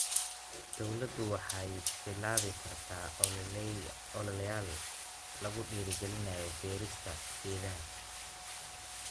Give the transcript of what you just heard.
Dawladdu waxay bilaabi kartaa ololeyaal lagu dhiirigelinayo beerista geedaha.